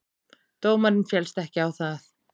Dómarinn féllst ekki á það.